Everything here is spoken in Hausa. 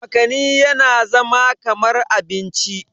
makani yana zama kamar abinci